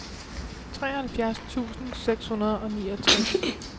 treoghalvfjerds tusind seks hundrede og niogtres